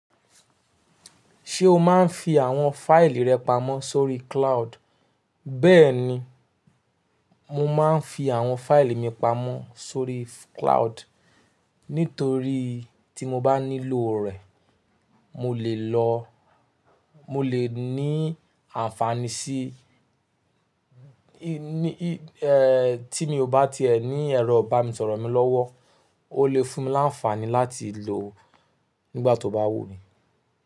Ṣé o máa ń fi àwọn fáìlì rẹ pamọ́ sórí cloud? Bẹ́ẹ̀ni, mo máa ń fi àwọn fáìlì mi pamọ́ sórí cloud nítorí tí mo bá nílò rẹ̀, mo lè lọ, mo lè ní ànfàní sí i, tí mi ò bá ti ẹ ní ẹ̀rọ ibanisoro mi lọ́wọ́, ó lè fún mi láǹfàní láti lò nígbà tó bá wù mí.